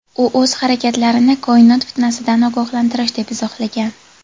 U o‘z harakatlarini "koinot fitnasi"dan ogohlantirish deb izohlagan.